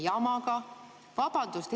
Vabandust!